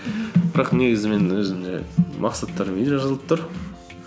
бірақ негізі мен өзім жаңағы мақсаттарым үйде жазылып тұр